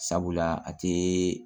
Sabula a te